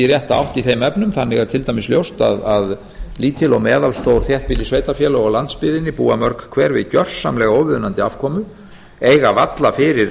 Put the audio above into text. rétta átt í þeim efnum þannig er til dæmis ljóst að lítil og meðalstór þéttbýlissveitarfélög á landsbyggðinni búa mörg hver við gjörsamlega óviðunandi afkomu eiga varla fyrir